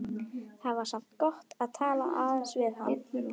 Það var samt gott að tala aðeins við hann.